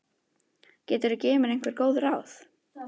Geturðu gefið mér einhver góð ráð?